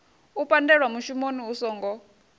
u pandelwa mushumoni hu songo